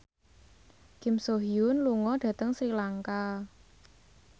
Kim So Hyun lunga dhateng Sri Lanka